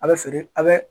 A bɛ feere a bɛ